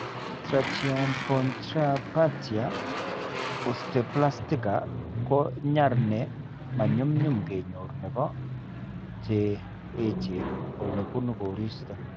Tracheobronchopathia osteoplastica ko nyar ne manyumnyum kenyor nebo che echen ole buune koristo.